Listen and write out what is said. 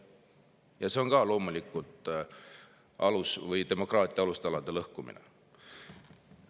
Ja see on ka loomulikult demokraatia alustalade lõhkumine.